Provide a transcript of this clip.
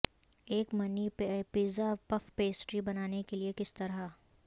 ایک mini pizza puff pastry بنانے کے لئے کس طرح